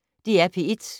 DR P1